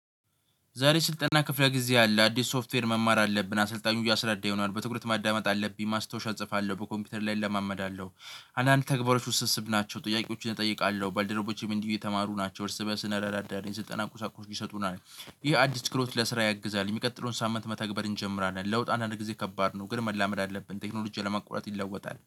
ዛሬ ስልጠና ክፍለ ጊዜ አለ አዲስ ሶፍትዌር መማር አለብን አሰልጣኙ እያሰራዳ ይሆናል በትኩረት ማዳመጥ አለብኝ ማስታወሻ እጽፋለሁ በኮምፒውተር ላይ እለማመዳለሁ። አንዳንድ ተግባሮች ውስጥ ውስስብ ናቸው ጥያቄዎችን እጠይቃለሁ ባልደረቦቼም እንዲህ የተማሩ ናቸው እርስ እንረዳዳለን ስልጠና ቁሳቁሶች ይሰጡናል። ይህ አዲስ ክህሎት ለስራ ያግዛል የሚቀጥለውን ሳምንት መተግበር እንጀምራለን። ለውጥ አንዳንድ ጊዜ ከባድ ነው። ግን መላመድ አለብን ቴክኖሎጂ ቴክኖሎጂው ያለማቁአረጥ ይለወጣል